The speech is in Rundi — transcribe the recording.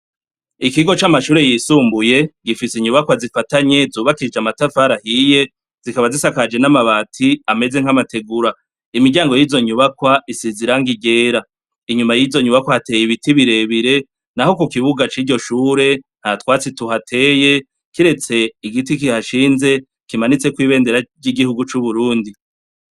Ikigo c'amashure yisumbuye gifise inyubakwa zifatanye zubakishije amatafari ahiye zikaba zisakaje n'amabati ameze nl'amategura, imiryango yizo nyubakwa size irangi ryera inyuma yizo nyubakwa hateye ibiti birebire, naho kukibuga ciryo shure ntatwatsi tuhateye kiretse igiti kihashinze kimanitsekwo ibendera ry'igihugu c'ubrundi.